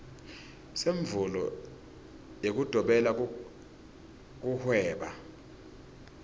semvumo yekudobela kuhweba